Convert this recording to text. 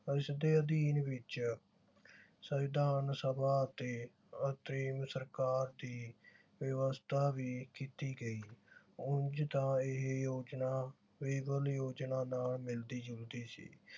ਇਸਦੇ ਅਧੀਨ ਵਿਚ ਸੰਵਿਧਾਨ ਸਭਾ ਅਤੇ ਅੰਤਰੀਮ ਸਰਕਾਰ ਦੀ ਵਿਵਸਥਾ ਵੀ ਕੀਤੀ ਗਈ। ਉਂਝ ਤਾਂ ਇਹ ਯੋਜਨਾ ਯੋਜਨਾ ਨਾਲ ਮਿਲਦੀ ਜੁਲਦੀ ਸੀ